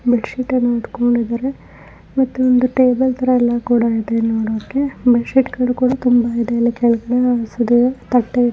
Bed ಶೀಟನ್ನ ಹೊದ್ದುಕೊಂಡು ಇದರೆ ಮತ್ತೆ ಒಂದು ಟೇಬಲ್ ತರ ಎಲ್ಲ ಕೂಡ ಇದೆ. ನೋಡೊಕ್ಕೆ ಬೆಡ್ ಶಿಟುಗಳು ಕೂಡ ತುಂಬಾ ಇದೆ ಇಲ್ಲಿ ಕೆಳಗಡೆ ಹಾಯಿಸಿದರೆ ತಟ್ಟೆ--